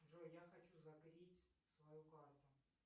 джой я хочу закрыть свою карту